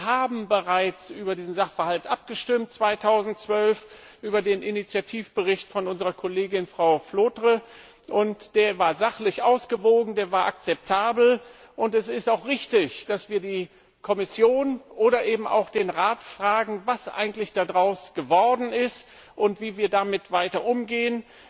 Wir haben bereits 2012 über diesen Sachverhalt abgestimmt über den Initiativbericht unserer Kollegen Frau Flautre. Er war sachlich ausgewogen, er war akzeptabel, und es ist auch richtig, dass wir die Kommission oder eben auch den Rat fragen, was eigentlich daraus geworden ist und wie wir damit weiter umgehen.